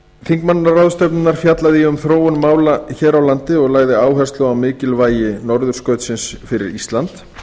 þingmannaráðstefnunnar fjallaði ég um þróun mála hér á landi og lagði áherslu á mikilvægi norðurskautsins fyrir ísland